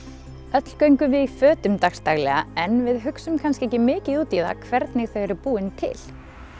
öll göngum við í fötum dags daglega en við hugsum kannski ekki mikið út í það hvernig þau eru búin til